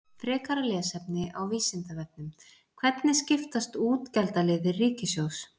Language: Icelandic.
Frekara lesefni á Vísindavefnum: Hvernig skiptast útgjaldaliðir ríkissjóðs?